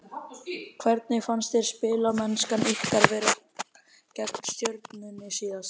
Hvernig fannst þér spilamennskan ykkar vera gegn Stjörnunni síðasta þriðjudag?